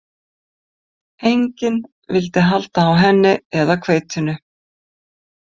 Enginn vildi halda á henni eða hveitinu.